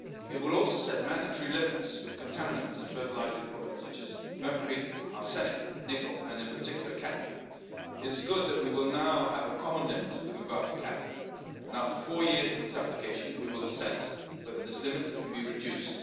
It would also set mandatory limits for contaminants in fertilising products such as mercury, arsenic, nickel and in particular cadmium. It is good that we will now have a common limit with regard to cadmium, and after four years of its application we will assess whether this limit can be reduced.